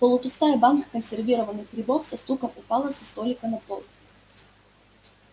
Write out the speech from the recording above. полупустая банка консервированных грибов со стуком упала со столика на пол